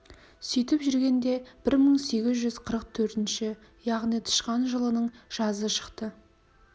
сөйтіп жүргенде бір мың сегіз жүз қырық төртінші яғни тышқан жылының жазы шықты